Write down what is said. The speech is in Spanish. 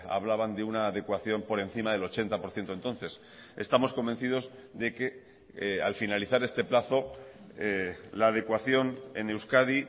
hablaban de una adecuación por encima del ochenta por ciento entonces estamos convencidos de que al finalizar este plazo la adecuación en euskadi